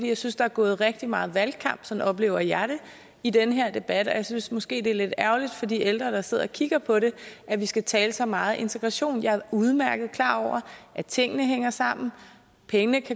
jeg synes der er gået rigtig meget valgkamp sådan oplever jeg det i den her debat og jeg synes måske det er lidt ærgerligt for de ældre der sidder og kigger på det at vi skal tale så meget integration jeg er udmærket klar over at tingene hænger sammen at pengene